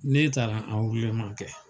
Ne taara kɛ